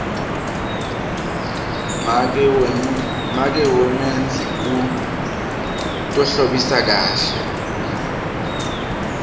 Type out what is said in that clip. make wamenzi u tohlambisa kakhe